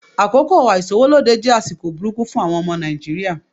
Àkókò àìsówólódé jẹ́ àsìkò burúkú fún àwọn ọmọ Nàìjíríà.